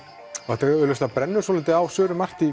þetta augljóslega brennur svolítið á Söru